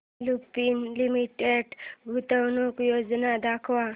Lupin limited गुंतवणूक योजना दाखव